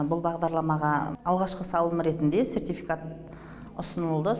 бұл бағдарламаға алғашқы салым ретінде сертификат ұсынылды